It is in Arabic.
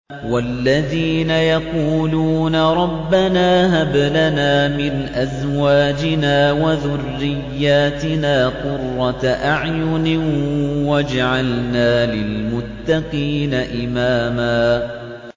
وَالَّذِينَ يَقُولُونَ رَبَّنَا هَبْ لَنَا مِنْ أَزْوَاجِنَا وَذُرِّيَّاتِنَا قُرَّةَ أَعْيُنٍ وَاجْعَلْنَا لِلْمُتَّقِينَ إِمَامًا